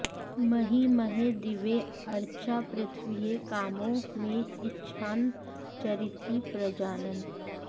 महि महे दिवे अर्चा पृथिव्यै कामो म इच्छञ्चरति प्रजानन्